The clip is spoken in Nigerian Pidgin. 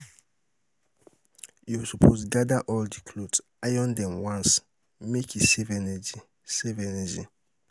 You suppose gada all di clothes, iron dem once make e save energy.